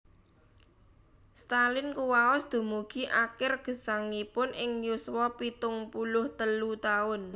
Stalin kuwaos dumugi akir gesangipun ing yuswa pitung puluh telu taun